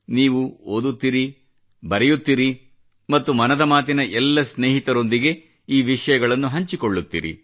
ನೀವು ಓದುತ್ತಿರಿ ಬರೆಯುತ್ತಿರಿ ಮತ್ತು ಮನದ ಮಾತಿನ ಎಲ್ಲ ಸ್ನೇಹಿತರೊಂದಿಗೆ ಈ ವಿಷಯಗಳನ್ನು ಹಂಚಿಕೊಳ್ಳ್ಳುತ್ತಿರಿ